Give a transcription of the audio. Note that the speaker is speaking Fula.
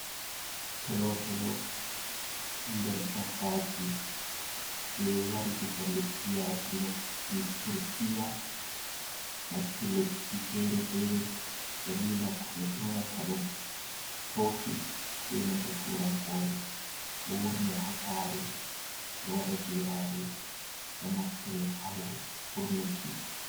Tolo tolo ɗo nder dabbaji je wari diga leddi yasi lesɗi turkiya nasti leddi fere-fere dalila ko ɓe yonata ɗum toki be nanta turankore, ɗo wurne ha sare ɗo wada geraɗe do naftre ha wurnuki.